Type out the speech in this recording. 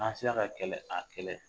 An sera ka kɛlɛ a kɛlɛ.